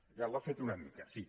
ja l’ha fet una mica sí